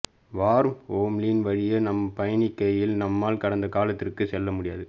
வார்ம்ஹோலின் வழியே நாம் பயணிக்கையில் நம்மால் கடந்த காலத்திற்குள் செல்ல முடியும்